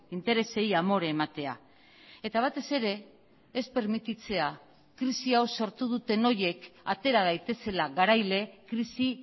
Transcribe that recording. interesei amore ematea eta batez ere ez permititzea krisi hau sortu duten horiek atera daitezela garaile krisi